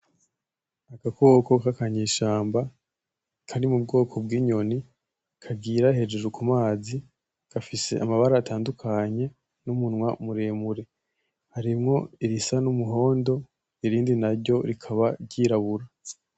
Agakoko k'akanyeshamba kari mu bwoko bw'inyoni , kagira hejuru ku mazi gafise amabara atandukanye n'umunwa muremure, harimwo irisa n'umuhondo irindi naryo rikaba ry'irabura.